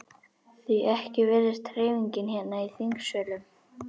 Því ekki virðist hreyfingin hérna í þingsölum?